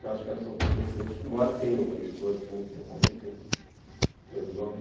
Eu acho que elas são competentes, embora tenha editores também que são competentes, editores homens.